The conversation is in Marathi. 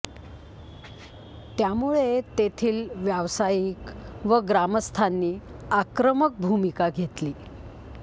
त्यामुळे तेथील व्यावसायिक व ग्रामस्थांनी आक्रमक भूमिका घेतली